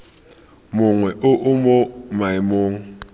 mongwe o o mo maemong